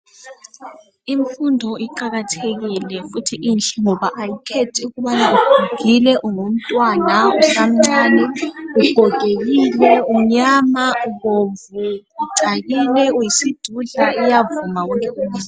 Imfundo iqakathekile futhi inhle ngoba ayikhethi ukubana ugugile, ungumntwana usamcani, ugogekile, ungumntwana umnyama, ubomvu, ucakile, uyisidudla iyavuma wonke umuntu.